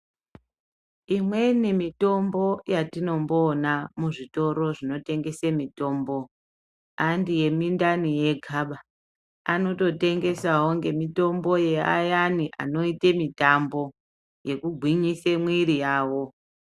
Imweni mitombo yatinomboona muzvitoro zvinotengese mitombo handi yemindani yegaba. Anototengesawo mitombo yeayani anoite mitambo yekugwinyisa mwiri yawo.